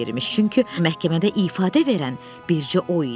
Çünki məhkəmədə ifadə verən bircə o idi.